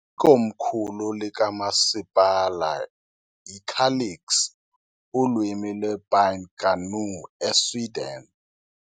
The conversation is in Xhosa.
Ikomkhulu likamasipala yiKalix Ulwimi lwePine Kainuu, eSweden .